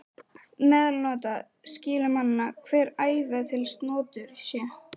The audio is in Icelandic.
Meðalsnotur skyli manna hver, æva til snotur sé.